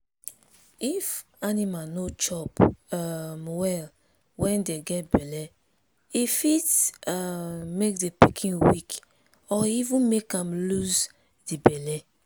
if animal no chop um well when dey get belle e fit um make the pikin weak or even make am lose the belle.